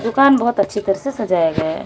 दुकान बहोत अच्छी तरह से सजाया गया है।